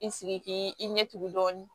I sigi k'i i ɲɛ tugun dɔɔni